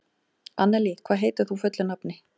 Annelí, hvað heitir þú fullu nafni?